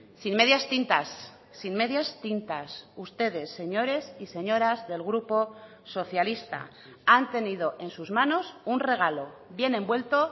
sin medias tintas sin medias tintas ustedes señores y señoras del grupo socialista han tenido en sus manos un regalo bien envuelto